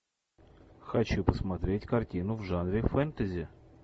хочу посмотреть картину в жанре фэнтези